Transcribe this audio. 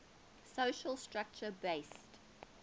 social structure based